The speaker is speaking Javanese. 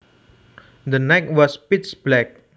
The night was pitch black